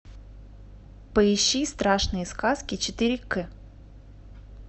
поищи страшные сказки четыре к